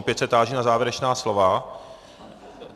Opět se táži na závěrečná slova.